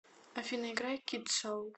афина играй кид соул